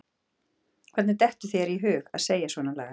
Hvernig dettur þér í hug að segja svonalagað!